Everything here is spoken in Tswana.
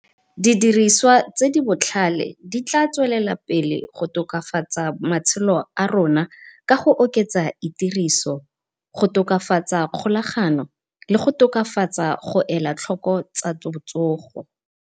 Didiriswa tse di botlhale di tla tswelela pele go tokafatsa matshelo a rona, ka go oketsa itiriso go tokafatsa kgolagano le go tokafatsa go elatlhoko tsa botsogo.